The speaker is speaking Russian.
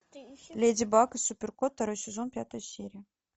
леди баг и супер кот второй сезон пятая серия